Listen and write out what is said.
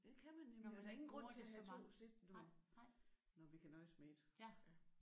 Det kan man nemlig. Der er ingen grund til at have 2 sæt når når vi kan nøjes med 1